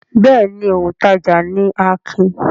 Bẹ́ẹ̀ ni, òǹtajà ni Akin.